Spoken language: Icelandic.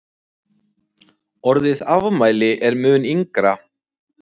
Orðið afmæli er mun yngra.